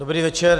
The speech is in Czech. Dobrý večer.